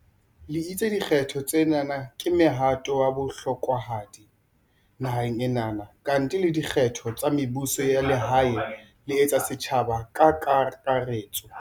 Le itse di kgetho tsena ke mohato wa bohlokwahadi naheng ena, kantle le dikgetho tsa mebuso ya lehae le tsa setjhaba ka kaka retso.